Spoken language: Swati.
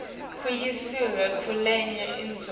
kuyiswa kulenye indzawo